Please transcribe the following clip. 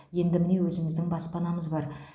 енді міне өзіміздің баспанамыз бар